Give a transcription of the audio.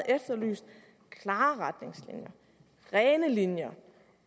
efterlyst klare retningslinjer rene linjer